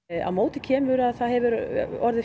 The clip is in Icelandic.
á móti kemur að það hefur orðið